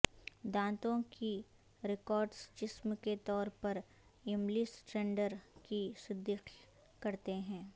دانتوں کی ریکارڈز جسم کے طور پر یملی سنڈر کی تصدیق کرتے ہیں